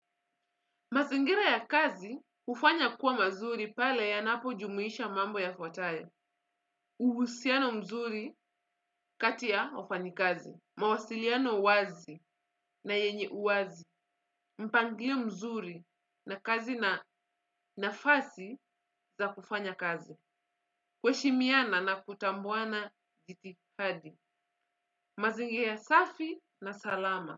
Mazingira ya kazi hufanya kuwa mazuri pale yanapojumuisha mambo yafuatayo. Uhusiano mzuri kati ya wafanyikazi. Mawasiliano wazi na yenye uwazi. Mpangilio mzuri na kazi na nafasi za kufanya kazi. Kuheshimiana na kutambuana jitihadi. Mazingira safi na salama.